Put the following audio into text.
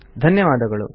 ಧನ್ಯವಾದಗಳು